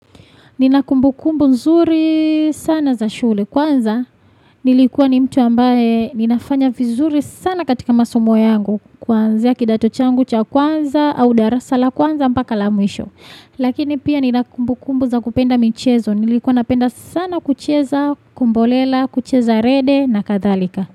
Ninakumbukumbu nzuri sana za shule kwanza nilikuwa ni mtu ambaye ninafanya vizuri sana katika masomo yangu kuanzia kidato changu cha kwanza au darasa la kwanza mpaka la mwisho. Lakini pia ninakumbukumbu za kupenda michezo nilikuwa napenda sana kucheza kumbolela kucheza rede na kathalika.